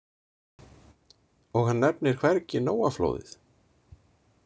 Og hann nefnir hvergi Nóaflóðið.